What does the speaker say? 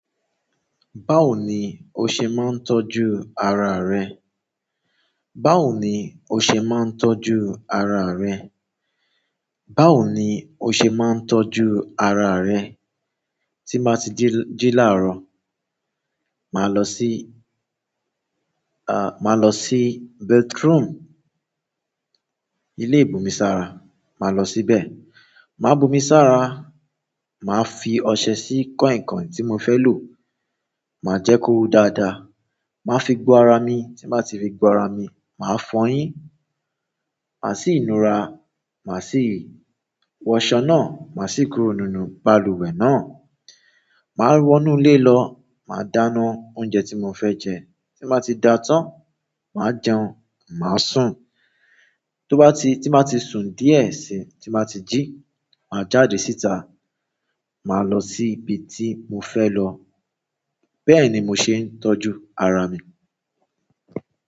Báwo ni o ṣe máa ń tọ́jú ara rẹ? Báwo ni o ṣe máa ń tọ́jú ara rẹ? Báwo ni o ṣe máa ń tọ́jú ara rẹ? Tí n bá tí jí laarọ máa lọ sí bathroom ilé ìbomi sára, màá lọ síbẹ̀, màá bu omi sára, màá fi ọṣẹ sí kọ̀inkọ̀in tí mo fẹ́ lò, màá jẹ kó hò dáadáa, màá fi gbo ara mi, tí n bá ti fi gbo ara mi, màá fọyín, màá sì nura, màá sì wọṣọ náà, màá sì kúrò nínú balùwẹ̀ náà, màá wọnú ilé lọ, màá dáná oúnjẹ tí mo fẹ́ jẹ, tí m bá ti da tán, màá jẹun, màá sùn. Tóbá ti-- tí màá ti sùn díẹ̀ si, tí m bá ti jí, màá jáde síta, màá lọ sí ibi tí mo fẹ́ lọ. Bẹ́ẹ̀ ni mo ṣe ń tọ́jú ara mi.